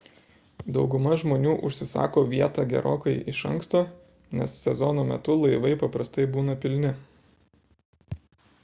dauguma žmonių užsisako vietą gerokai iš anksto nes sezono metu laivai paprastai būna pilni